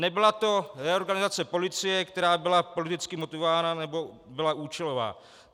Nebyla to reorganizace policie, která byla politicky motivována nebo byla účelová.